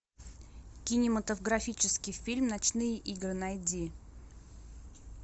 кинематографический фильм ночные игры найди